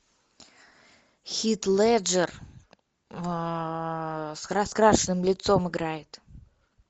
хит леджер с раскрашенным лицом играет